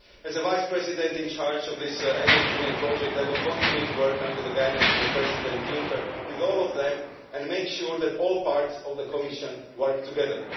As the Vice President in charge of this Energy Union project, I will continue to work, under the guidance of President Juncker, with all of them and make sure that all parts of the Commission work together.